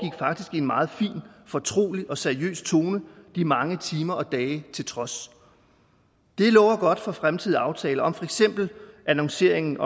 i en meget fin fortrolig og seriøs tone de mange timer og dage til trods det lover godt for fremtidige aftaler om for eksempel annonceringen